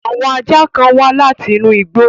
Àwon ajá kan wa látinú igbó